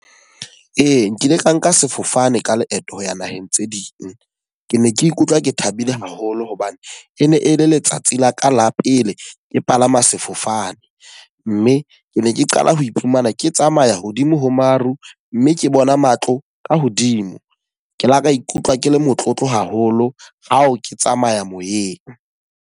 Ee, nkile ka nka sefofane ka leeto ho ya naheng tse ding. Ke ne ke ikutlwa ke thabile haholo hobane e ne e le letsatsi la ka la pele ke palama sefofane. Mme ke ne ke qala ho iphumana ke tsamaya hodimo ho maru mme ke bona matlo ka hodimo. Ke la ka ikutlwa ke le motlotlo haholo ha o ke tsamaya moyeng.